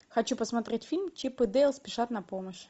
хочу посмотреть фильм чип и дейл спешат на помощь